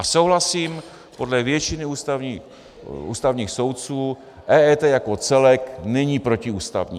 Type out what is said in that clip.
A souhlasím, podle většiny ústavních soudců EET jako celek není protiústavní.